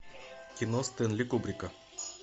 кино стэнли кубрика